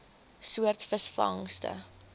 soort visvangste